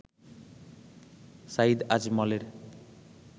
Saeed আজমলের